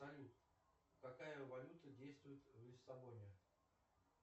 салют какая валюта действует в лиссабоне